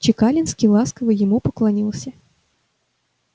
чекалинский ласково ему поклонился